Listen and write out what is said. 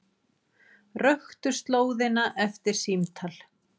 Röktu slóðina eftir símtal